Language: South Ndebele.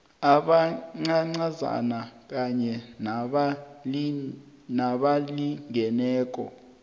abancancazana kanye nabalingeneko